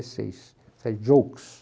seis. Isso jokes.